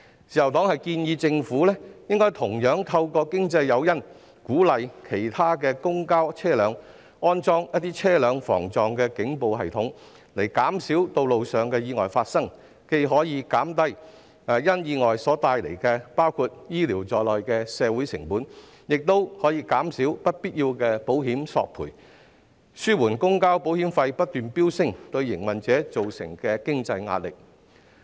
自由黨建議政府應該同樣透過經濟誘因，鼓勵其他公共交通車輛安裝防撞警報系統，從而減少道路意外發生，這樣既可減低意外所帶來包括醫療服務的社會成本，亦可減少不必要的保險索賠，以紓緩公共交通保險費不斷飆升對營運者造成的經濟壓力。